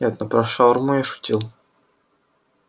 нет ну про шаурму я шутил